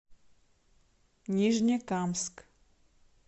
нижнекамск